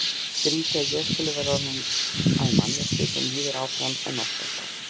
Skrýtið að ég skuli vera orðin að manneskju sem líður áfram en óttast allt.